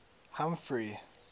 humphrey